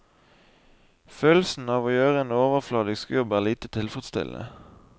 Følelsen av å gjøre en overfladisk jobb er lite tilfredsstillende.